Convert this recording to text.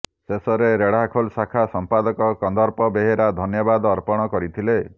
ଶେଷରେ ରେଢ଼ାଖୋଲ ଶାଖା ସମ୍ପାଦକ କନ୍ଦର୍ପ ବେହେରା ଧନ୍ୟବାଦ ଅର୍ପଣ କରିଥିଲେ